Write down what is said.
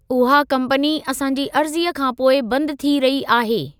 उहा कंपनी असां जी अर्ज़ीअ खां पोइ बंदि थी रही आहे।